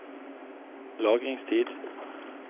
lagringstid